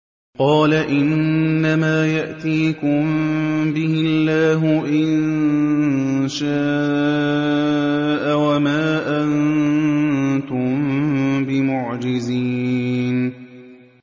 قَالَ إِنَّمَا يَأْتِيكُم بِهِ اللَّهُ إِن شَاءَ وَمَا أَنتُم بِمُعْجِزِينَ